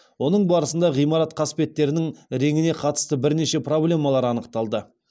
оның барысында ғимарат қасбеттерінің реңіне қатысты бірнеше проблемалар анықталды